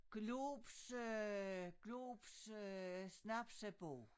Globs øh Globs øh snapsebog